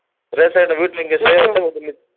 அத்தைமா சொல்லிச்சு